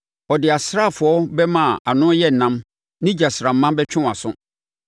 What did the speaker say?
Ɔde asraafoɔ bɛmma a ano yɛ nnam ne gyasramma bɛtwe wʼaso.